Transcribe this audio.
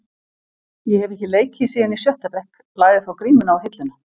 Ég hef ekki leikið síðan í sjötta bekk, lagði þá grímuna á hilluna.